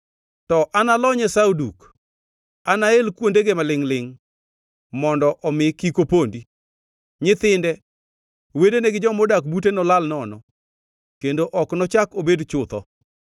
To analony Esau duk; anael kuondege malingʼ-lingʼ, mondo omi kik opondi. Nyithinde, wedene gi jomodak bute nolal nono, kendo ok nochak obed chutho.